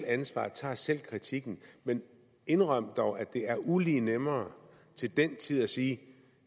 ansvaret tager selv kritikken men indrøm dog at det er ulig nemmere til den tid at sige